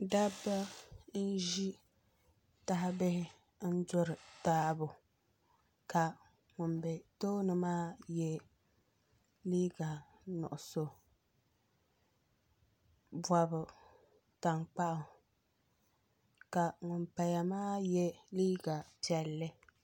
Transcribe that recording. Dabi n ʒi tahibihi n duri taabɔ ŋun bɛ tooni maa yɛ liiga nuɣuso bɔbi tankpaɣu ka ŋun paya maa yɛ liiga piɛlli